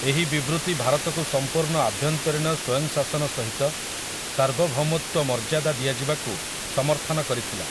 ଏହି ବିବୃତି ଭାରତକୁ ସମ୍ପୂର୍ଣ୍ଣ ଆଭ୍ୟନ୍ତରୀଣ ସ୍ୱୟଂଶାସନ ସହିତ ସାର୍ବଭୌମତ୍ୱ ମର୍ଯ୍ୟାଦା ଦିଆଯିବାକୁ ସମର୍ଥନ କରିଥିଲା ।